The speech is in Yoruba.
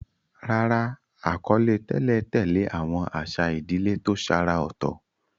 Rárá, àkọlé tẹ́lẹ̀ tẹ̀lé àwọn àṣà ìdílé tó ṣàrà ọ̀tọ̀.